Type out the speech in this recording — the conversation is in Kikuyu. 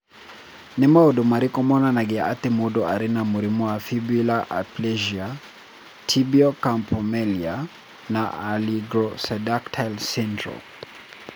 Nĩ maũndũ marĩkũ monanagia atĩ mũndũ arĩ na mũrimũ wa Fibular aplasia, tibial campomelia, na oligosyndactyly syndrome?